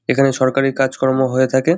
এখানে সরকারির কাজকর্ম হয়ে থাকে।